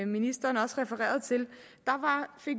ministeren også refererede til